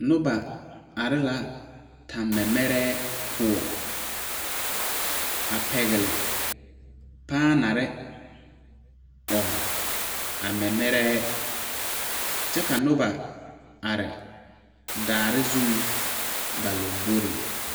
Noba are la tenmɛmɛɛre poɔ, a pɛgeli paanare a ɔŋ a mɛmɛɛre kyɛ ka noba are daare zuŋ ba lamboriŋ.